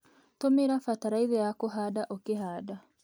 Tũmĩra bataraitha ya kũhanda ũkĩhanda.